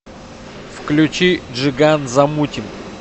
включи джиган замутим